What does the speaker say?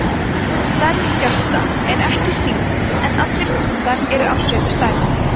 stærð skjálfta er ekki sýnd en allir punktar eru af sömu stærð